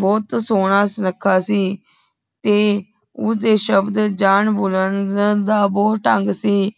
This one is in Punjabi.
ਭੋਤ ਸੋਨਾ ਰੇਖਾ ਸੀ ਤੇ ਉਸ ਦੇ ਸ਼ਬਦ ਜਾਨ ਭੁਲਾਂਦਾ ਦਾ ਭੂਤ ਢੰਗ ਸੀ